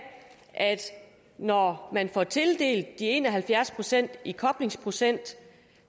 at når man får tildelt de en og halvfjerds procent i koblingsprocenttilskud